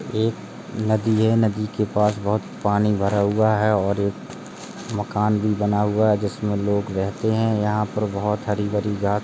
एक नदी हैनदी के पास बहुत पानी भरा हुआ है और एक मकान भी बना हुआ है जिस मे लोग रहते हैं। यहाँ पर बहुत हरी भरी घाँस --